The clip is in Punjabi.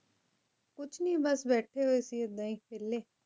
ਕੁਛ ਨੀ ਬਸ ਬੈਠੇ ਹੋਏ ਸੀ ਏਦਾਂ ਹੀ ਵੇਲ਼ੇ